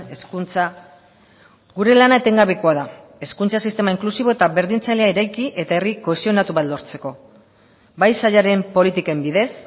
hezkuntza gure lana etengabekoa da hezkuntza sistema inklusibo eta berdintzailea eraiki eta herri kohesionatu bat lortzeko bai sailaren politiken bidez